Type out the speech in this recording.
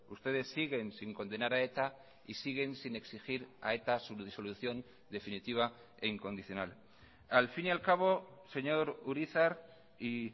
ustedes siguen sin condenar a eta y siguen sin exigir a eta su disolución definitiva e incondicional al fin y al cabo señor urizar y